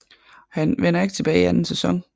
Han vender ikke tilbage i anden sæson